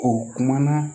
O kumana